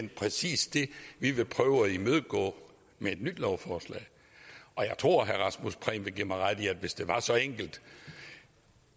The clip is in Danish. præcis det vi vil prøve at imødegå med et nyt lovforslag og jeg tror at herre rasmus prehn vil give mig ret i at hvis det var så enkelt